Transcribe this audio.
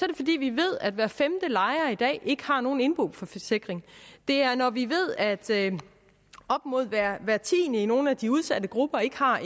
det fordi vi ved at hver femte lejer i dag ikke har nogen indboforsikring det er når vi ved at op mod hver tiende i nogle af de udsatte grupper ikke har